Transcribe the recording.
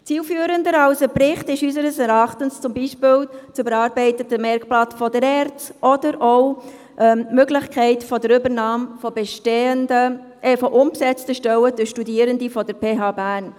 Zielführender als ein Bericht ist unseres Erachtens zum Beispiel das überarbeitete Merkblatt der ERZ oder auch die Möglichkeit der Übernahme unbesetzter Stellen durch Studierende der Pädagogischen Hochschule Bern (PH Bern).